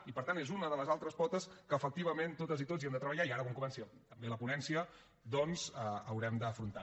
i per tant és una de les altres potes que efectivament totes i tots hi hem de treballar i que ara quan comenci també la ponència haurem d’afrontar